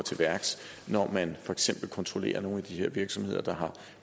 til værks når man for eksempel kontrollerer nogle af de her virksomheder der har